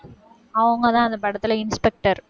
அவங்கதான் அந்த படத்தில inspector